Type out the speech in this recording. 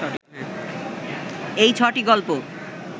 এই ছ’টি গল্প